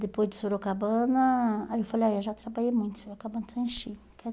Depois do Sorocabana, aí eu falei, ah, eu já trabalhei muito, Sorocabana já enchi